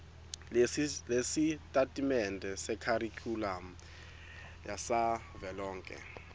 lwesitatimende sekharikhulamu savelonkhe